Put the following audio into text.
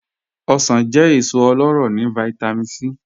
Ọ̀ṣọ̀n jẹ́ èsò ọlọ́rọ́ ni Vitamin C.